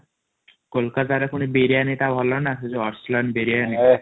କୋଲକାତା ରେ ପୁଣି ବିରିୟଣୀ ଟା ଭଲନ ସେ ଯୋଉ ଅଶିଲଂ ବିରିୟଣୀ ଏ